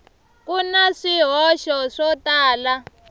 ku na swihoxo swo tala